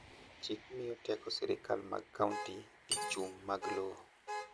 chik miyo teko sirikal mag county e chung mag lowo